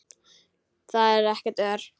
Þar er ekkert ör.